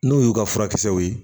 N'o y'u ka furakisɛw ye